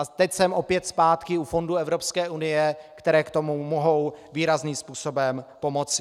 A teď jsem opět zpátky u fondů Evropské unie, které k tomu mohou výrazným způsobem pomoci.